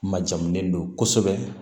Ma jamu don kosɛbɛ